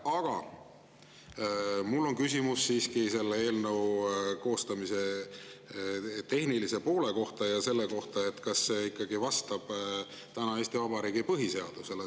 Aga mul on küsimus selle eelnõu koostamise tehnilise poole kohta ja selle kohta, kas see ikka vastab Eesti Vabariigi põhiseadusele.